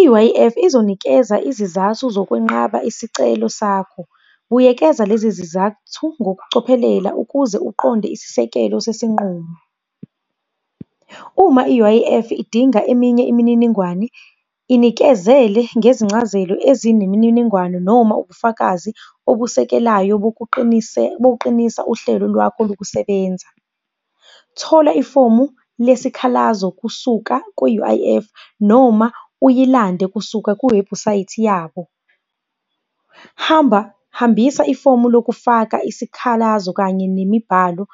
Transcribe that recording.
I-U_I_F, izonikeza izizathu zokwenqaba isicelo sakho. Buyekeza lezi zizathu ngokucophelela ukuze uqonde isisekelo sesinqumo. Uma i-U_I_F, idinga eminye imininingwane inikezele ngezincazelo ezinemininingwane noma ubufakazi obusekelayo bokuqinisa uhlelo lwakho lokusebenza. Thola ifomu lesikhalazo kusuka ku-U_I_F noma uyilande kusuka kuwebhusayithi yabo. Hamba, hambisa ifomu lokufaka isikhalazo kanye nemibhalo